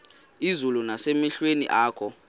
izulu nasemehlweni akho